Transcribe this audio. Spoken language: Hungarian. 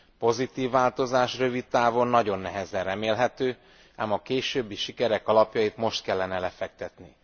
Pozitív változás rövid távon nagyon nehezen remélhető, ám a későbbi sikerek alapjait most kellene lefektetni.